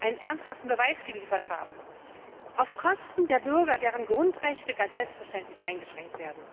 einen ernsthaften Beweis geliefert haben, auf Kosten der Bürger, deren Grundrechte ganz selbstverständlich eingeschränkt werden.